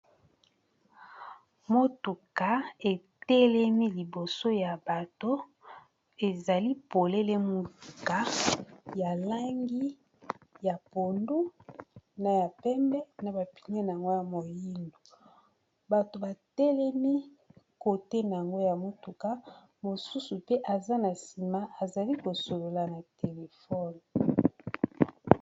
Motuka etelemi liboso ya bato ezali polele muka ya langi ya pondu na ya pembe na bapine na yango ya moyindo batu batelemi kote na ngo ya motuka mosusu pe aza na sima azali kosolola na telefone